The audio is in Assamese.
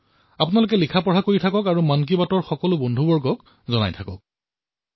সেয়ে অধ্যয়ন কৰি যাওক আৰু লিখি যাওক তথা মন কী বাতৰ বন্ধুসকলৰ সৈতে ইয়াক বিনিময় কৰি যাওক